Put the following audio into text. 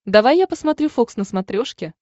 давай я посмотрю фокс на смотрешке